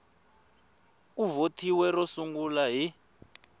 ku vothiwe ro sungula hi